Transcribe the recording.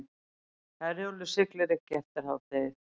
Herjólfur siglir ekki eftir hádegi